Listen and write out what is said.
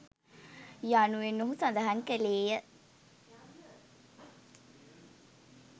යනුවෙන් ඔහු සඳහන් කළේය